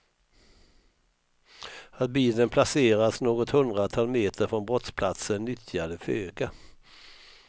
Att bilen placerats något hundratal meter från brottsplatsen nyttjade föga.